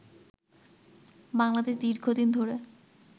বাংলাদেশ দীর্ঘদিন ধরে